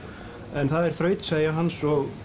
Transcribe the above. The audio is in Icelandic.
en það er þrautseigja hans og